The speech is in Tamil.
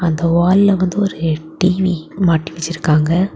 அந்த வால்ல வந்து ஒரு டி_வி மாட்டி வச்சிருக்காங்க.